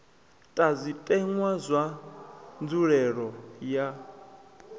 ta zwitenwa na nzulelele ya